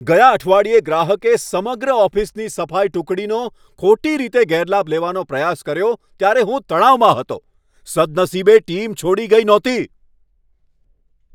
ગયા અઠવાડિયે ગ્રાહકે સમગ્ર ઓફિસની સફાઈ ટુકડીનો ખોટી રીતે ગેરલાભ લેવાનો પ્રયાસ કર્યો ત્યારે હું તણાવમાં હતો. સદનસીબે ટીમ છોડી ગઈ નહોતી.